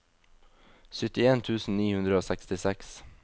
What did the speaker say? syttien tusen ni hundre og sekstiseks